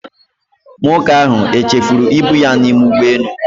Nwoke ahụ o chefuru ibu ya n'ime ụgbọelu?